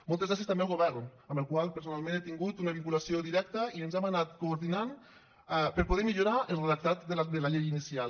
moltes gràcies també al govern amb el qual personalment he tingut una vinculació directa i ens hem anat coordinant per poder millorar el redactat de la llei inicial